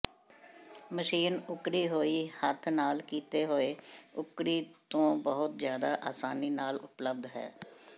machine ਉੱਕਰੀ ਹੋਈ ਹੱਥ ਨਾਲ ਕੀਤੇ ਹੋਏ ਉੱਕਰੀ ਤੋਂ ਬਹੁਤ ਜ਼ਿਆਦਾ ਆਸਾਨੀ ਨਾਲ ਉਪਲਬਧ ਹੈ